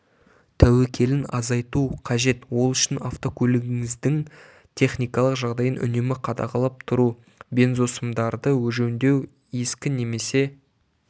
тәуекелін азайту қажет ол үшін автокөлігіңіздің техникалық жағдайын үнемі қадағалап тұру бензосымдарды жөндеу ескі немесе